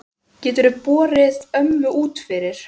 Geturðu borið ömmu út fyrir?